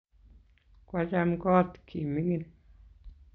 Kwacham kot ki mining'